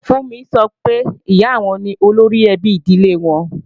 Fúnmi sọ pé, Ìyá àwọn ni olóríẹbí ìdílé àwọn